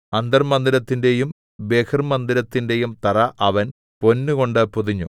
അന്തർമ്മന്ദിരത്തിന്റെയും ബഹിർമ്മന്ദിരത്തിന്റെയും തറ അവൻ പൊന്നുകൊണ്ട് പൊതിഞ്ഞു